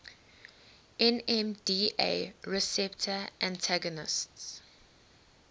nmda receptor antagonists